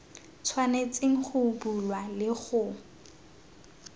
tshwanetseng go bulwa le go